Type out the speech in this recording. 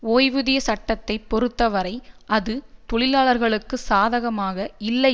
ஓய்வூதிய சட்டத்தை பொறுத்தவரை அது தொழிலாளர்களுக்கு சாதகமாக இல்லை